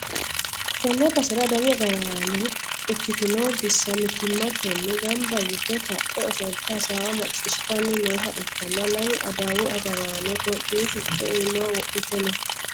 tenne basera adawu agaraano ikkitino bissa mittimmatenni gamba yite ka'e ofolte hasaawa maccishshitanni nooha ikkanna, lamu adawu agaraano itiyoophiyu sicco iimaho wodhite no.